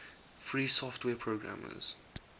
free software programmers